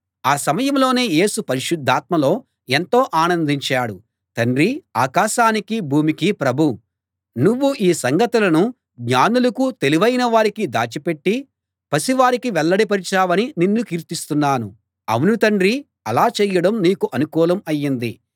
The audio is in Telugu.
ఆ సమయంలోనే యేసు పరిశుద్ధాత్మలో ఎంతో ఆనందించాడు తండ్రీ ఆకాశానికీ భూమికీ ప్రభూ నువ్వు ఈ సంగతులను జ్ఞానులకూ తెలివైన వారికీ దాచిపెట్టి పసివారికి వెల్లడి పరిచావని నిన్ను కీర్తిస్తున్నాను అవును తండ్రీ అలా చేయడం నీకు అనుకూలం ఆయింది